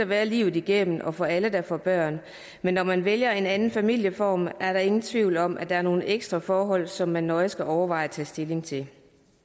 være livet igennem og for alle der får børn men når man vælger en anden familieform er der ingen tvivl om at der er nogle ekstra forhold som man nøje skal overveje og tage stilling til